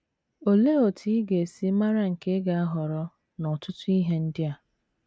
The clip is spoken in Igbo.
Olee otú ị ga - esi mara nke ị ga - ahọrọ n’ọtụtụ ihe ndị a?